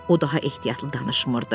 O daha ehtiyatlı danışmırdı.